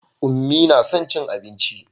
Unmie na son cin abinci.